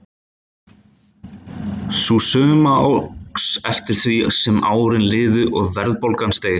Sú summa óx eftir því sem árin liðu og verðbólgan steig.